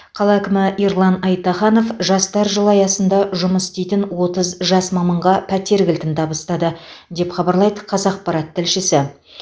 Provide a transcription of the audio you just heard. қала әкімі ерлан айтаханов жастар жылы аясында жұмыс істейтін отыз жас маманға пәтер кілтін табыстады деп хабарлайды қазақпарат тілшісі